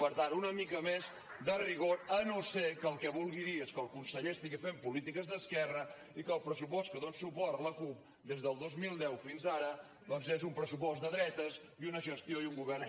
per tant una mica més de rigor si no és que el que vulgui dir és que el conseller estigui fent polítiques d’esquerra i que el pressupost que hi dona suport la cup des del dos mil deu fins ara doncs és un pressupost de dretes i una gestió i un govern